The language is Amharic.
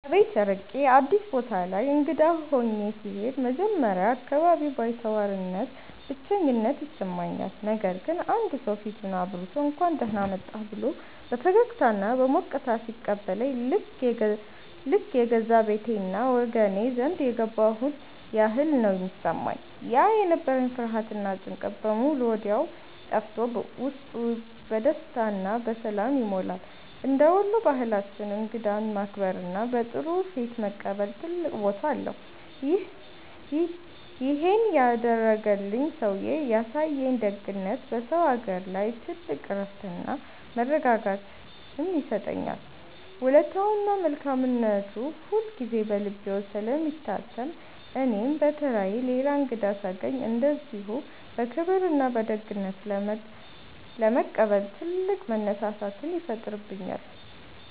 ከቤት ርቄ አዲስ ቦታ ላይ እንግዳ ሆኜ ስሄድ መጀመሪያ አካባቢ ባይተዋርነትና ብቸኝነት ይሰማኛል። ነገር ግን አንድ ሰው ፊቱን አብርቶ፣ «እንኳን ደህና መጣህ» ብሎ በፈገግታና በሞቅታ ሲቀበለኝ ልክ የገዛ ቤቴና ወገኔ ዘንድ የገባሁ ያህል ነው የሚሰማኝ። ያ የነበረኝ ፍርሃትና ጭንቀት በሙሉ ወዲያው ጠፍቶ ውስጤ በደስታና በሰላም ይሞላል። እንደ ወሎ ባህላችን እንግዳን ማክበርና በጥሩ ፊት መቀበል ትልቅ ቦታ አለው። ይሄን ያደረገልኝ ሰውዬ ያሳየኝ ደግነት በሰው አገር ላይ ትልቅ እረፍትና መረጋጋትን ይሰጠኛል። ውለታውና መልካምነቱ ሁልጊዜ በልቤ ውስጥ ስለሚታተም እኔም በተራዬ ሌላ እንግዳ ሳገኝ እንደዚሁ በክብርና በደግነት ለመቀበል ትልቅ መነሳሳትን ይፈጥርብኛል።